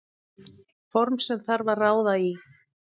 Form sem þarf að ráða í.